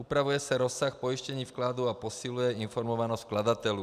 Upravuje se rozsah pojištění vkladů a posiluje informovanost vkladatelů.